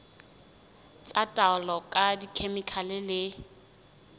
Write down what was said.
tsa taolo ka dikhemikhale le